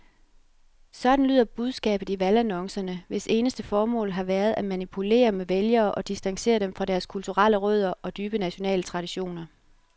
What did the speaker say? Sådan lyder budskabet i valgannoncerne, hvis eneste formål har været at manipulere med vælgere og distancere dem fra deres kulturelle rødder og dybe nationale traditioner.